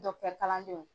kalandenw